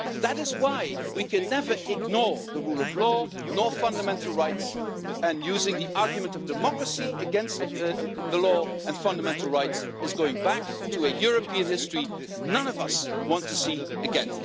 That is why we can never ignore the rule of law, nor fundamental rights, and using the argument of democracy against the law and fundamental rights is going back to a European history none of us want to see again.